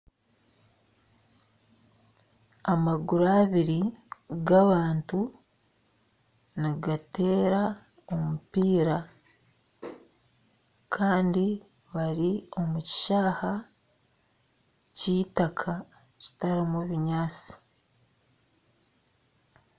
Amaguru abiri g'abantu nigateera omupiira kandi bari omu kishaaha ky'itaaka kitarimu binyaatsi.